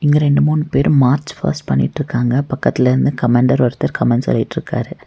இங்க ரெண்டு மூணு பேரு மார்ச் பாஸ்ட் பண்ணிட்ருக்காங்க பக்கத்துல இருந்து கமாண்டர் ஒருத்தர் கமெண்ட் சொல்லிடிருக்காரு.